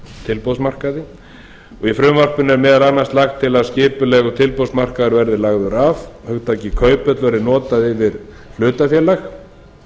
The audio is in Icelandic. tilboðsmarkaði í frumvarpinu er meðal annars lagt til að skipulegur tilboðsmarkaður verði lagður af hugtakið kauphöll verði notað yfir hlutafélag